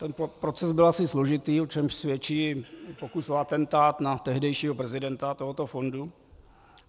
Ten proces byl asi složitý, o čemž svědčí pokus o atentát na tehdejšího prezidenta tohoto fondu.